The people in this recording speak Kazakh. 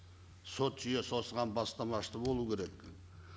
сот жүйесі осыған бастамашы болу керек